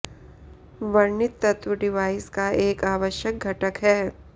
वर्णित तत्व डिवाइस का एक आवश्यक घटक है